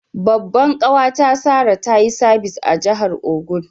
Babban kawa ta Sarah, ta yi sabis a'jihar Ogun.